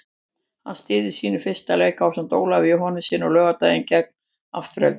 Hann stýrði sínum fyrsta leik ásamt Ólafi Jóhannessyni á laugardaginn gegn Aftureldingu.